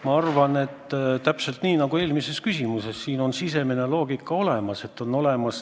Ma arvan, et täpselt nagu eelmise küsimuse puhul, on siin sisemine loogika olemas.